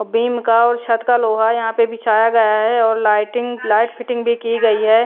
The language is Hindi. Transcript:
बीम का और छत का लोहा यहां पे बिछाया गया है और लाइटिंग लाइट फिटिंग भी की गई है।